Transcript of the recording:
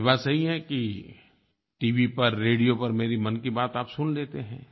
और ये बात सही है कि टीवी पर रेडियो पर मेरी मन की बात आप सुन लेते हैं